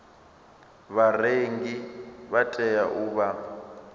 vharengi vha tea u vha